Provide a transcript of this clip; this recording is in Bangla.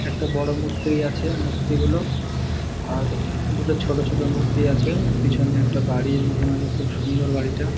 একটা বড়ো মূর্তিই আছে । মূর্তি গুলো আর দুটো ছোট ছোট মূর্তি আছে । পিছনে একটা বাড়ির মতন আছে। খুব সুন্দর বাড়িটা। ।